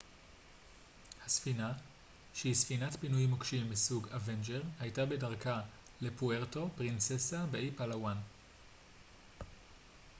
הספינה שהיא ספינת פינוי מוקשים מסוג אוונג'ר הייתה בדרכה לפוארטו פרינססה באי פאלאוואן